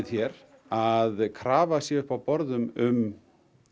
hér að krafa sé upp á borðum um